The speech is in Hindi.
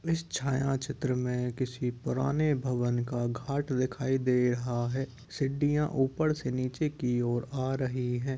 इस छाया चित्र मे किसी पुराने भवन का घाट दिखाई दे रहा है। सिडडियाँ ऊपर से नीचे की ओर आ रही हैं।